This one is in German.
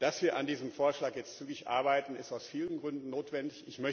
Dass wir an diesem Vorschlag jetzt zügig arbeiten, ist aus vielen Gründen notwendig.